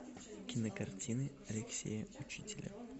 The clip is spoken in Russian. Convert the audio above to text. кинокартины алексея учителя